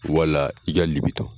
Wala i ka .